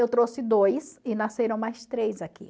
Eu trouxe dois e nasceram mais três aqui.